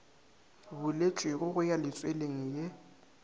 buletšwego go ya letsweleng ye